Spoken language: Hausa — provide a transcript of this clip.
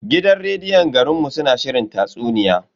Gidan rediyon garin mu suna shirin tatsuniya.